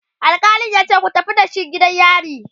alkalin yace"ku tafi da shi gidan yari!"